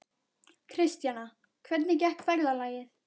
Kristjana, hvernig gekk ferðalagið?